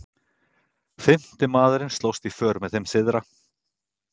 fimmti maðurinn slóst í för með þeim syðra